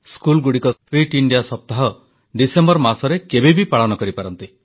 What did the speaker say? ସ୍କୁଲଗୁଡ଼ିକ fit India ସପ୍ତାହ December ମାସରେ କେବେବି ପାଳନ କରିପାରନ୍ତି